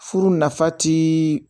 Furu nafa ti